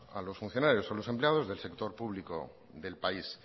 a los funcionarios a los empleados del sector público del país